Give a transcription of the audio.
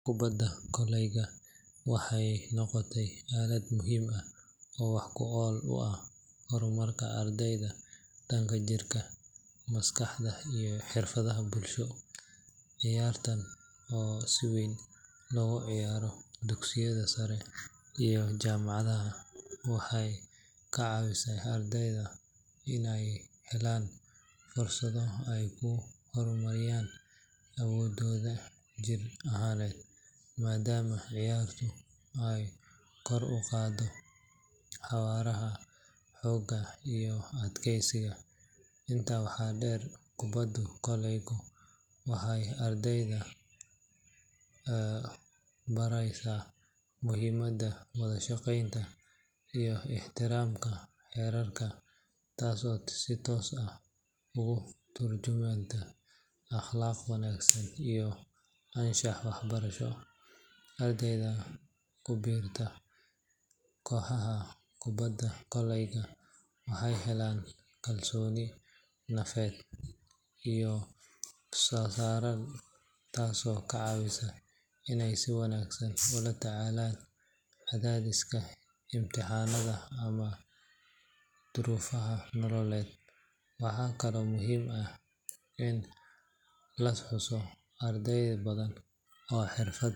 Kubadda koleyga waxay noqotay aalad muhiim ah oo wax ku ool u ah horumarka ardayda dhanka jirka, maskaxda iyo xirfadaha bulsho. Ciyaartan oo si weyn looga ciyaaro dugsiyada sare iyo jaamacadaha, waxay ka caawisaa ardayda inay helaan fursado ay ku horumariyaan awooddooda jir ahaaneed, maadaama ciyaartu ay kor u qaaddo xawaaraha, xoogga iyo adkeysiga. Intaa waxaa dheer, kubadda koleyga waxay ardayda baraysaa muhiimadda wada shaqeynta iyo ixtiraamka xeerarka, taasoo si toos ah ugu tarjumanta akhlaaq wanaagsan iyo anshax waxbarasho. Ardayda ku biirta kooxaha kubadda koleyga waxay helaan kalsooni nafeed oo sareysa, taasoo ka caawisa inay si wanaagsan ula tacaalaan cadaadiska imtixaannada ama duruufaha nololeed. Waxaa kaloo muhiim ah in la xuso in arday badan oo xirfad.